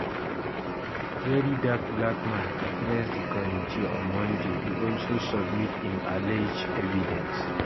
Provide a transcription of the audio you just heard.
verydarkblackman address di committee on monday e also submit im allege evidence